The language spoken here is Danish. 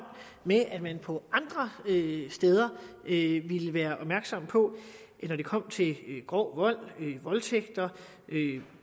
med at man på andre steder ville være opmærksom på når det kom til grov vold voldtægter